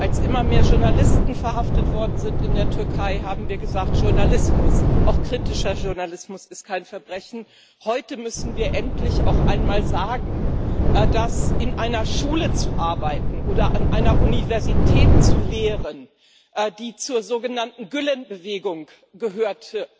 Als immer mehr Journalisten in der Türkei verhaftet worden sind, haben wir gesagt Journalismus, auch kritischer Journalismus, ist kein Verbrechen. Heute müssen wir endlich auch einmal sagen, dass in einer Schule zu arbeiten oder an einer Universität zu lehren, die zur sogenannten Gülen Bewegung gehört,